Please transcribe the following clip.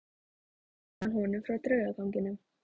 Svo sagði hann honum frá draugaganginum.